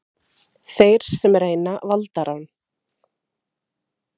Þeir sem reyna valdarán